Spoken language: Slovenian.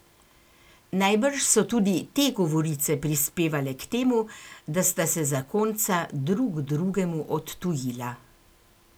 Najbrž so tudi te govorice prispevale k temu, da sta se zakonca drug drugemu odtujila.